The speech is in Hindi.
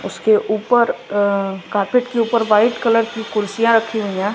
उसके ऊपर अह कारपेट के ऊपर व्हाइट कलर की कुर्सियां रखी हुई हैं।